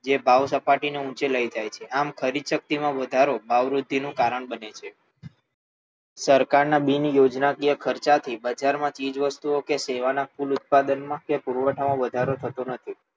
જે ભાવસપાટીને ઊંચે લઈ જાય છે આમ ખરીદશક્તિમાં વધારો ભાવવૃદ્ધિનું કારણ બને છે સરકારના બિનયોજનાકીય ખર્ચાથી બજારમાં ચીજ વસ્તુઓ કે સેવાના કુલ ઉત્પાદનમાં કે પુરવઠામાં વધારો થતો નથી